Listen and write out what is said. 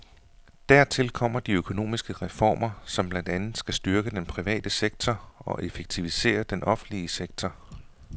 Dertil kommer de økonomiske reformer, som blandt andet skal styrke den private sektor og effektivisere den offentlige sektor.